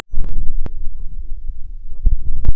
афина включи чаптер ван